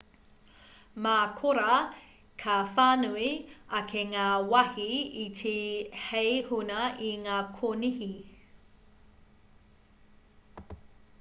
mā korā ka whānui ake ngā wāhi iti hei huna i ngā konihi